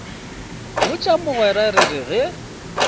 botša mogwera re re ge